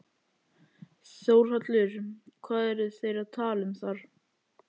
Þórhallur: Hvað eru þeir að tala um þar?